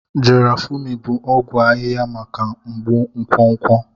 Garafuni bụ ọgwụ ahịhịa maka mgbu nkwonkwo.